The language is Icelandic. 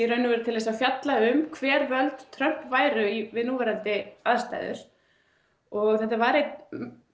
í raun og veru fjalla um hver völd Trump væru við núverandi aðstæður og þetta var einn